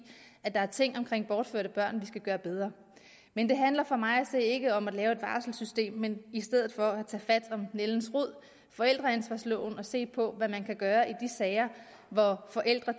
at der er ting omkring bortførte børn vi skal gøre bedre men det handler for mig at se ikke om at lave et varselssystem men i stedet for at tage fat om nældens rod forældreansvarsloven og se på hvad man kan gøre i de sager hvor forældre